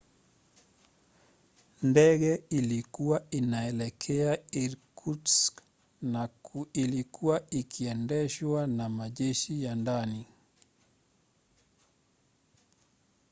ndege ilikuwa inaelekea irkutsk na ilikuwa ikiendeshwa na majeshi ya ndani